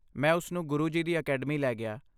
ਮੈਂ ਉਸਨੂੰ ਗੁਰੂ ਜੀ ਦੀ ਅਕੈਡਮੀ ਲੈ ਗਿਆ।